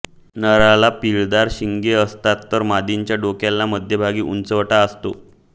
नराला पीळदार शिंगे असतात तर मादीच्या डोक्याला मध्यभागी उंचवटा असतो